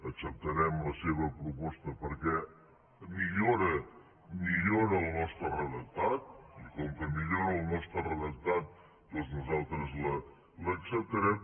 acceptarem la seva proposta perquè millora millora el nostre redactat i com que millora el nostre redactat doncs nosaltres l’acceptarem